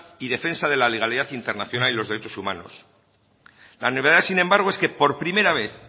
y defensa de la legalidad internacional y los derechos humanos la novedad sin embargo es que por primera vez